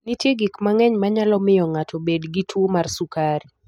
Nitie gik mang'eny manyalo miyo ng'ato obed gi tuwo mar sukari.